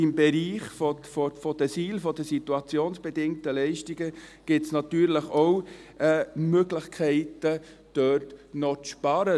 Im Bereich der SIL gibt es natürlich auch Möglichkeiten, noch zu sparen.